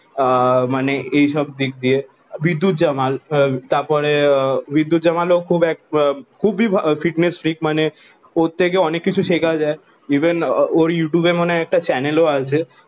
আহ মানে এই সব দিক দিয়ে বিদ্যুত জাম্বল তার পরে বিদ্যুত জাম্বল ও খুব এক খুবই ফিটনেস ফ্রিক ওরে থেকে অনেক কিছু শেখ যায় ইভেন ওরে ইউটুবে মানে একটা চ্যানেল ও আছে